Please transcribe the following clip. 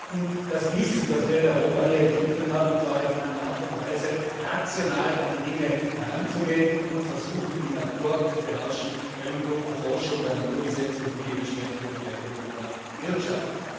Zum Zweiten das Wissen, das wir hier in Europa entwickelt haben, und zwar in einer Art und Weise rational an die Dinge heranzugehen und zu versuchen, die Natur zu beherrschen, eben durch Erforschung der Naturgesetze und die dementsprechende Verwendung in der Wirtschaft.